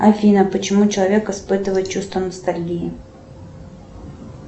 афина почему человек испытывает чувство ностальгии